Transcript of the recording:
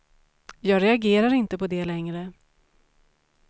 Jag reagerar inte på det längre.